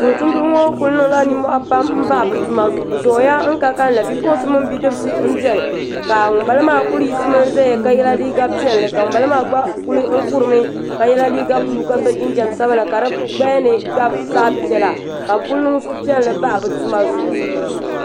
Tumtumdiba ŋo ku niŋla nimmohi n bahi bi tuma zuɣu bi zooya n ka kanli bipuɣunsi mini bidibsi n biɛni ka ŋunbala maa ku yiɣisimi ʒɛya ka yɛ liiga piɛlli ka ŋun bala maa kuli kurimi ka yɛ liiga buluu ka so jinjɛm sabila ka di gbaya ni gabi zaɣ piɛla ka bi ku niŋ suhupiɛlli n bahi bi tuma zuɣu